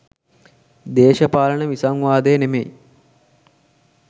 දේශපාලන විසංවාදය නෙමෙයි